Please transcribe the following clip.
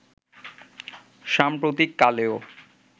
সাম্প্রতিক কালেও